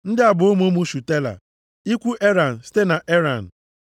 Ndị a bụ ụmụ ụmụ Shutela: ikwu Eran site na Eran.